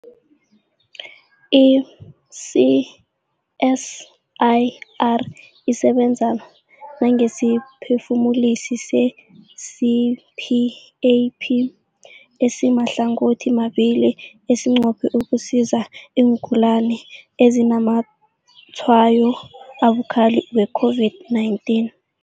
I-CSIR isebenza nangesiphefumulisi se-CPAP esimahlangothimabili esinqophe ukusiza iingulani ezinazamatshwayo abukhali we-COVID-19.